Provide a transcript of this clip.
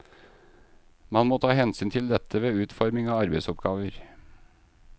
Man må ta hensyn til dette ved utforming av arbeidsoppgaver.